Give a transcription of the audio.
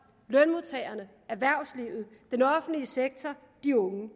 lønmodtagerne erhvervslivet den offentlige sektor og de unge